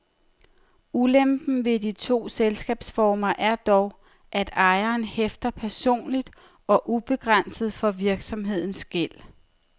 Ulempen ved de to selskabsformer er dog, at ejeren hæfter personligt og ubegrænset for virksomhedens gæld.